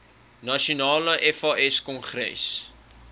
nasionale fas kongres